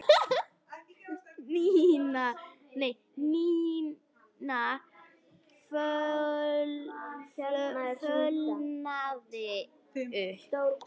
Nína fölnaði upp.